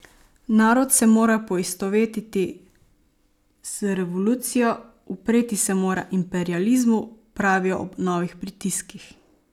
Narod se mora poistovetiti z Revolucijo, upreti se mora imperializmu, pravijo ob novih pritiskih.